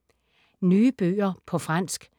Nye bøger på fransk